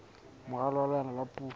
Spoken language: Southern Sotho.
moralo wa leano la puo